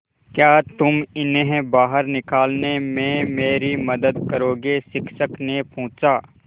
क्या तुम इन्हें बाहर निकालने में मेरी मदद करोगे शिक्षक ने पूछा